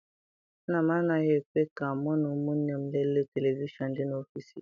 Nna m anaghị ekwe ka mụ na ụmụnne m lelee televishọn dị n'ọfịịsi ya.